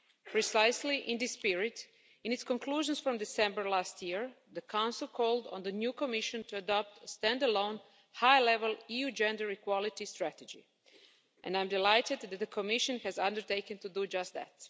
Precisely in this spirit, in its conclusions from December last year, the Council called on the new Commission to adopt a stand alone, high level EU gender equality strategy and I'm delighted that the Commission has undertaken to do just that.